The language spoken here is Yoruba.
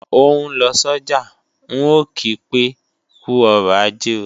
Ó ń lọ sọ́jà, ń ò kí pé "kú ọrọ̀ ajé o"